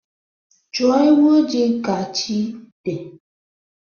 Chọọ ewu ojii ka chi dị